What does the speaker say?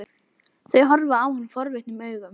Þau horfa á hann forvitnum augum.